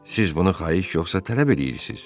Siz bunu xahiş yoxsa tələb eləyirsiz?